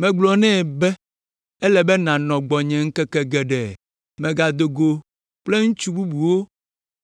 Megblɔ nɛ be, “Ele be nànɔ gbɔnye ŋkeke geɖe; mègado go kple ŋutsu bubuwo